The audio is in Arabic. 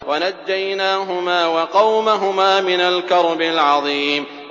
وَنَجَّيْنَاهُمَا وَقَوْمَهُمَا مِنَ الْكَرْبِ الْعَظِيمِ